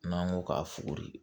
N'an ko k'a fuguri